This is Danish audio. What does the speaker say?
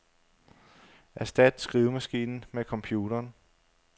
Erstat skrivemaskinen med computeren.